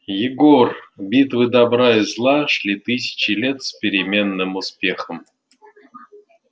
егор битвы добра и зла шли тысячи лет с переменным успехом